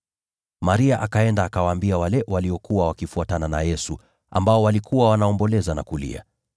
Maria akaenda, naye akawaambia wale waliokuwa wamefuatana na Yesu, waliokuwa wanaomboleza na kulia.